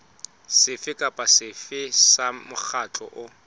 sefe kapa sefe sa mokgatlo